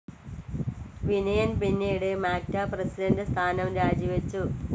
വിനയൻ പിന്നീട് മാക്ട പ്രസിഡന്റ്‌ സ്ഥാനം രാജി വച്ചു.